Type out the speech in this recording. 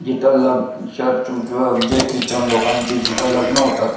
जिथे लब चर्च जो जे की ख्रिश्चन लोकांचे जिथे लग्न होतात.